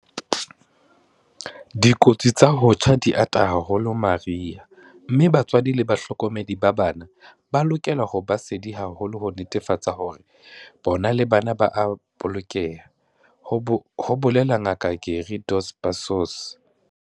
Dikotsi tsa ho tjha di ata haholo mariha mme batswadi le bahlokomedi ba bana ba lokela ho ba sedi haholo ho netefatsa hore bona le bana ba a bolokeha, ho bolela Ngaka Gary Dos Passos.